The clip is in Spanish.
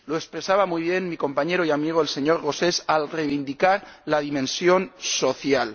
Lo expresaba muy bien mi compañero y amigo el señor Gauzès al reivindicar la dimensión social.